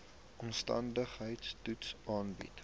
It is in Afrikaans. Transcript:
omstandigheids toets aandui